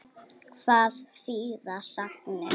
Hvað þýða sagnir?